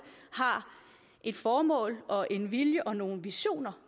har et formål og en vilje og nogle visioner